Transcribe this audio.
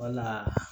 Wala